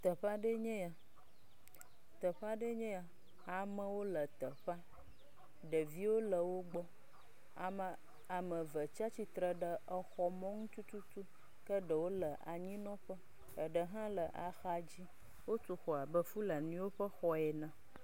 Teƒe aɖe nyee ya, teƒe aɖee nye ya. Amewo le teƒea, ɖeviwo le wogbɔ. Ame eve tsia tsitre ɖe exɔ mɔnu tututu, ke ɖewo le anyinɔƒe, ɖe hã le axa dzi. Wotu xɔ abe fulaniwo ƒe xɔ ene.